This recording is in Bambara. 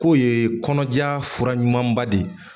K'o yee kɔnɔdiya fura ɲumanba de ye